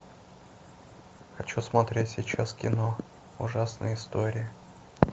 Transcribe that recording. хочу смотреть сейчас кино ужасные истории